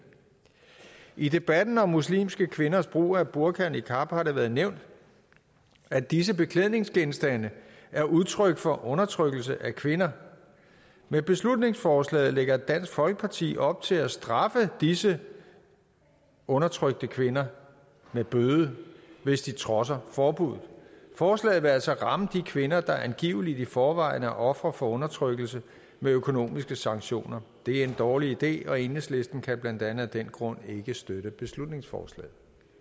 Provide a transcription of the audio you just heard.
i debatten om muslimske kvinders brug af burka og niqab har det været nævnt at disse beklædningsgenstande er udtryk for undertrykkelse af kvinder med beslutningsforslaget lægger dansk folkeparti op til at straffe disse undertrykte kvinder med bøde hvis de trodser forbudet forslaget vil altså ramme de kvinder der angiveligt i forvejen er ofre for undertrykkelse med økonomiske sanktioner det er en dårlig idé og enhedslisten kan blandt andet af den grund ikke støtte beslutningsforslaget